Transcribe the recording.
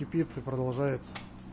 и пицца продолжается